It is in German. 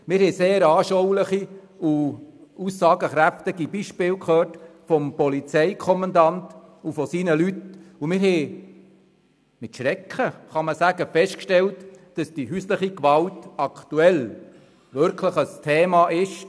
Wir hörten vom Polizeikommandanten und seinen Mitarbeitenden sehr anschauliche und aussagekräftige Beispiele und stellten durchaus mit Schrecken fest, dass die häusliche Gewalt aktuell wirklich ein Thema ist.